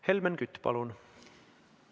Helmen Kütt, palun!